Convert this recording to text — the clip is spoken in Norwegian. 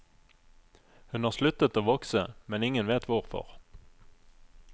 Hun har sluttet å vokse, men ingen vet hvorfor.